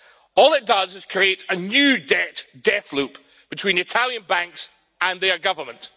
All it does is create a new debt death loop between Italian banks and their government.